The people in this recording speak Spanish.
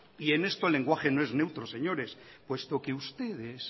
y en esto el lenguaje no es neutro señores puesto que ustedes